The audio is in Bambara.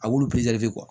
A wolo kuwa